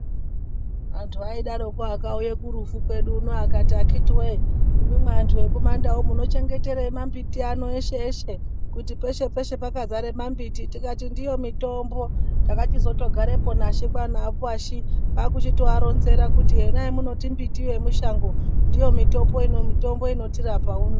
Antu aidaroko akauye kurufu kwedu uno akati akiti we imwimwi anhu ekumandau uno munochengeterei mambiti ano eshe eshe kuti peshe peshe pakazare mambiti tikati ndiyo mitombo takachizotogarepo naShe kwaana Washy kwaakuchitoaronzera kuti yona yamunoti mbiti yemushango ndiyo mitombo inotirapa uno.